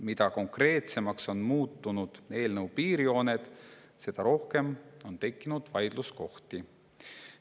Mida konkreetsemaks on muutunud eelnõu piirjooned, seda rohkem on tekkinud vaidluskohti.